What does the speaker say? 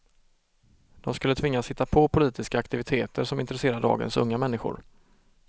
De skulle tvingas hitta på politiska aktiviteter som intresserar dagens unga människor.